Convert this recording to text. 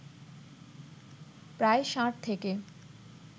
প্রায় ষাট থেকে